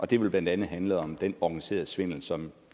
det vil blandt andet handle om den organiserede svindel som